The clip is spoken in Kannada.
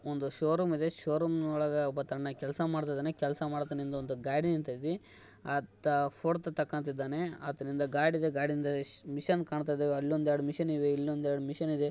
ಒಂದು ಶೋ ರೂಮ್‌ ಇದೆ ಶೋ ರೂಮ್‌ ಒಳಗೆ ಒಬ್ಬ ತನ್ನ ಕೆಲಸ ಮಾಡ್ತಾ ಇದಾನೆ ಕೆಲ್ಸ ಮಾಡತಾನ್ ಯಿಂದೇ ಒಂದು ಗಾಡಿ ನಿಂತೈತಿ ಆತ ಪೋಟೋತ ತಕ್ಕಂತಾಯಿದಾನೆ ಆತನಿಂದೆ ಗಾದಿಯಿದೆ ಗಾಡಿಯಿಂದೇ ಮಿಷನ್ ಕಾನ್ತಾಯಿದೆ ಅಲ್ಲೊಂದ್ ಎರಡ್ ಮಿಷನ್ ಇದೆ ಇಲ್ಲೊಂದ್ ಎರಡ್ ಮಿಷನ್ ಇದೆ.